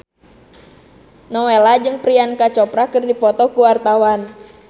Nowela jeung Priyanka Chopra keur dipoto ku wartawan